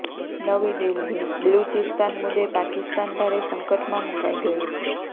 નવી દિલ્હીઃ બલુચિસ્તાન મુદ્દે પાકિસ્તાન ભારે સંકટમાં મુકાઈ ગયું છે